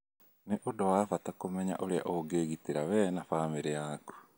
Nĩ ũndũ wa bata kũmenya ũrĩa ũngĩĩgitĩra we na famĩrĩ yaku.